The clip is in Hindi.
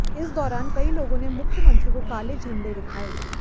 इस दौरान कई लोगों ने मुख्यमंत्री को काले झंडे दिखाए